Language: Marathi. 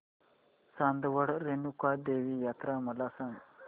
चांदवड रेणुका देवी यात्रा मला सांग